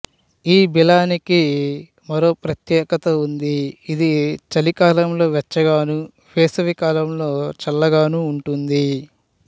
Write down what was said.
ఈ బిలానికి మరో ప్రత్యేకత ఉంది ఇది చలికాలంలో వెచ్చగాను వేసవికాలంలో చల్లగాను ఉంటుంది